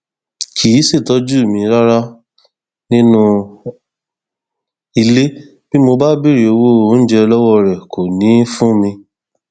um gẹgẹ bàlàròyé ṣe gbọ um àgbẹ ọlọgbìn káṣù ni bàbá ọgbẹni adéyẹmi